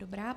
Dobrá.